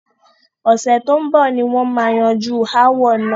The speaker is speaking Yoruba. Ọ̀sẹ̀ tó ń bọ̀ ni wọn má yanjú ááwọ̀ náà.